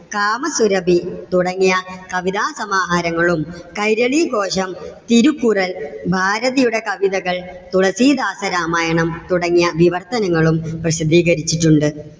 കാമസുരഭി തുടങ്ങിയ കവിതാസമാഹാരങ്ങളും. കൈരളി ഭോജം, തിരുകുറൽ, ഭാരതീയുടെ കവിതകൾ, തുളസീദാസ രാമായണം തുടങ്ങിയ വിവർത്തനങ്ങളും പ്രസിദ്ധികരിച്ചിട്ടുണ്ട്.